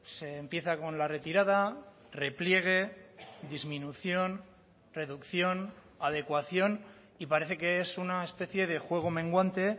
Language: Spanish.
se empieza con la retirada repliegue disminución reducción adecuación y parece que es una especie de juego menguante